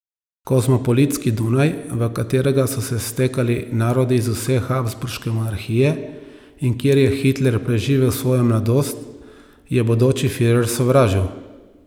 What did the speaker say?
Kozmopolitski Dunaj, v katerega so se stekali narodi iz vse habsburške monarhije, in kjer je Hitler preživel svojo mladost, je bodoči firer sovražil.